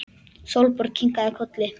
Sólborg kinkaði kolli.